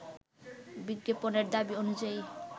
বিজ্ঞাপনের দাবি অনুযায়ী